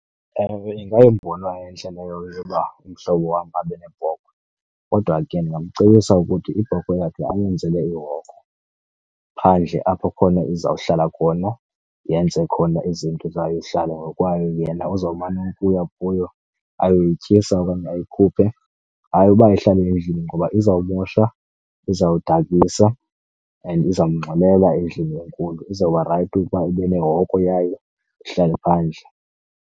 Ewe, ingayimbono entle leyo yokuba umhlobo wam abe nebhokhwe. Kodwa ke ndingamcebisa ukuthi ibhokhwe yakhe ayenzele ihoko phandle apho khona izawuhlala khona yenze khona izinto zayo, ihlale ngokwayo. Yena uzawumane ukuya kuyo ayoyityisa okanye ayikhuphe. Hayi uba ihlale endlini ngoba izawumosha, izawudakisa and izamngxolela endlini enkulu, izawuba rayithi ukuba ibe nehoko yayo ihlale phandle.